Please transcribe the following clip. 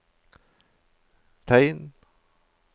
tegn